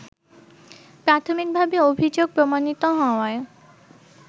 প্রাথমিকভাবে অভিযোগ প্রমাণিত হওয়ায়